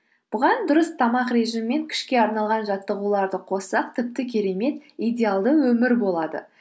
бұған дұрыс тамақ режимі мен күшке арналған жаттығуларды қоссақ тіпті керемет идеалды өмір болады